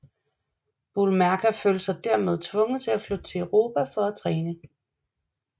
Boulmerka følte sig dermed tvunget til at flytte til Europa for at træne